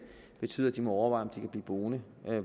betyder at de må overveje kan blive boende